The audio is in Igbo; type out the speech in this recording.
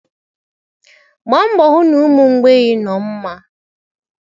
Gbaa mbọ hụ na ụmụ mgbei nọ mma.